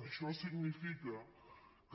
això significa